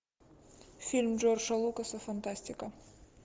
фильм джорджа лукаса фантастика